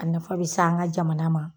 A nafa be se an ŋa jamana ma